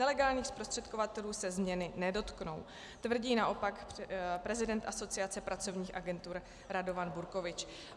Nelegálních zprostředkovatelů se změny nedotknou," tvrdí naopak prezident Asociace pracovních agentur Radovan Burkovič.